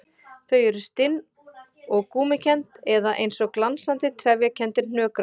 Þau eru stinn og gúmmíkennd eða eins og glansandi, trefjakenndir hnökrar.